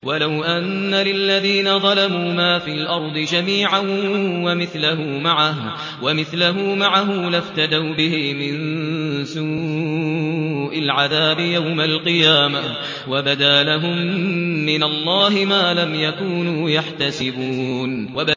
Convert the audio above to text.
وَلَوْ أَنَّ لِلَّذِينَ ظَلَمُوا مَا فِي الْأَرْضِ جَمِيعًا وَمِثْلَهُ مَعَهُ لَافْتَدَوْا بِهِ مِن سُوءِ الْعَذَابِ يَوْمَ الْقِيَامَةِ ۚ وَبَدَا لَهُم مِّنَ اللَّهِ مَا لَمْ يَكُونُوا يَحْتَسِبُونَ